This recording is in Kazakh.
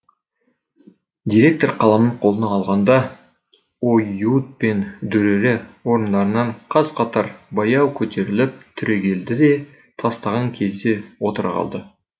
директор қаламын қолына алғанда оюут пен дүрэрэ орындарынан қаз қатар баяу көтеріліп түрегеледі де тастаған кезде отыра қалады